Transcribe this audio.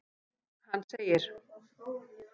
Hann segir:.